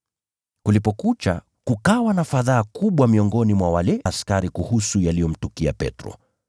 Kulipokucha kukawa na fadhaa kubwa miongoni mwa wale askari kuhusu yaliyomtukia Petro.